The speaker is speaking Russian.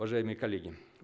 уважаемые коллеги